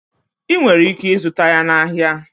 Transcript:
Ị nwere ike ịzụta ya na ahịa.